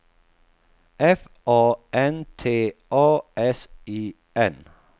F A N T A S I N